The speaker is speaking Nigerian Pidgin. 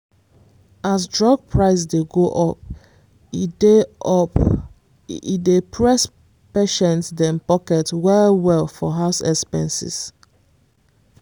as drug price dey go up e dey up e dey press patients dem pocket well-well for house expenses